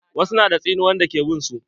Wasu na da tsinuwan da ke bin su.